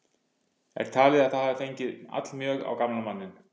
Er talið að það hafi fengið allmjög á gamla manninn.